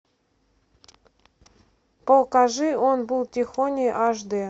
покажи он был тихоней аш дэ